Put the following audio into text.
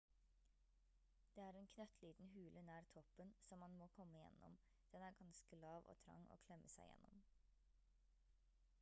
det er en knøttliten hule nær toppen som man må komme gjennom den er ganske lav og trang å klemme seg gjennom